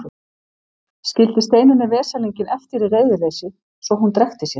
Skildi Steinunni veslinginn eftir í reiðileysi svo að hún drekkti sér.